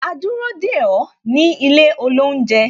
A dúró dè ó ní ilé olounje